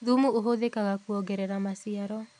Thumu ũhũthĩkaga kũongerera maciaro